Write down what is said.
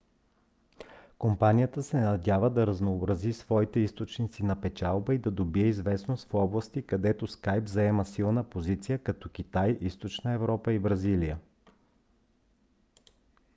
компанията се надява да разнообрази своите източници на печалба и да добие известност в области където skype заема силна позиция като китай източна европа и бразилия